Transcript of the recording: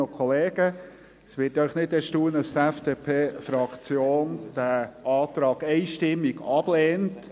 Es wird Sie nicht erstaunen, dass die FDP-Fraktion den Antrag einstimmig ablehnt.